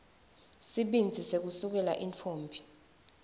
sibindzi sekusukela intfombi